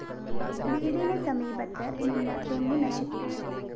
വീടിന് സമീപത്ത് നിന്ന തെങ്ങ് നശിപ്പിച്ചു